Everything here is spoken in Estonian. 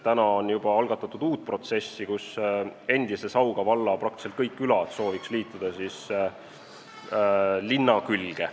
Nüüd on juba algatatud uus protsess, endise Sauga valla küladest peaaegu kõik soovivad liituda linna külge.